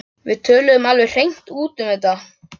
Við töluðum alveg hreint út um þetta.